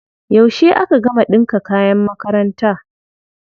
Yauce aka gama ɗinka kayan makaranta?